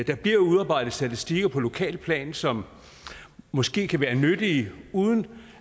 der bliver udarbejdet statistikker på lokalt plan som måske kan være nyttige uden